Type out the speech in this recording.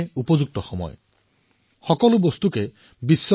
জেৰ effect zero defect চিন্তাধাৰৰ সৈতে কাম কৰাৰ এয়াই উচিত সময়